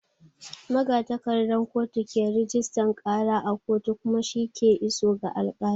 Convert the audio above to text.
Magatakardan kotu ke rajistan ƙara a kotu kuma shi ke iso ga alƙali.